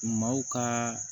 Maaw ka